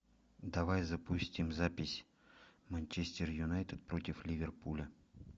давай запустим запись манчестер юнайтед против ливерпуля